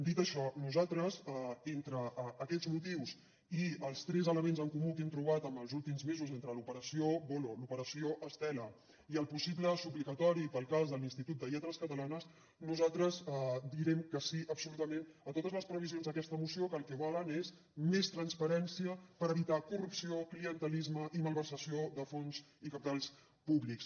dit això nosaltres entre aquests motius i els tres elements en comú que hem trobat en els últims mesos entre l’operació voloh l’operació estela i el possible suplicatori per al cas de l’institut de les lletres catalanes nosaltres direm que sí absolutament a totes les previsions d’aquesta moció que el que volen és més transparència per evitar corrupció clientelisme i malversació de fons i cabals públics